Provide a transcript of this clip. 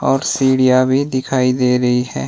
और सीढ़ियां भी दिखाई दे रही है।